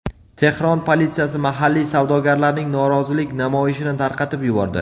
Tehron politsiyasi mahalliy savdogarlarning norozilik namoyishini tarqatib yubordi.